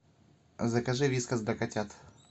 закажи вискас для котят